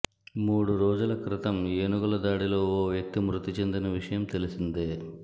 మూడు రోజుల క్రితం ఏనుగుల దాడిలో ఓ వ్యక్తి మృతి చెందిన విషయం తెలిసిందే